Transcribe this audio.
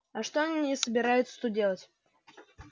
а что они собираются тут делать